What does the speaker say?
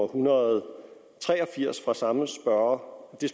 horn hvor det